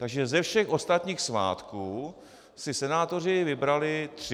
Takže ze všech ostatních svátků si senátoři vybrali tři.